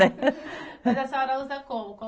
E a senhora usa como